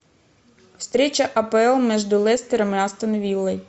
встреча апл между лестером и астон виллой